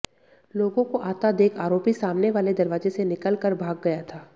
लोगों को आता देख आरोपी सामने वाले दरवाजे से निकल कर भाग गया था